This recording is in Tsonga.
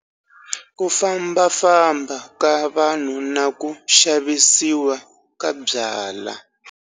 Ku fambafamba ka vanhu na ku xavisiwa ka byalwa.